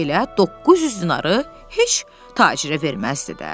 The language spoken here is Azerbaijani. Elə 900 dinarı heç tacirə verməzdi də.